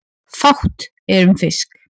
Fátt er um fisk